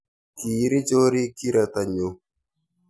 kiiri chorik kirato nyo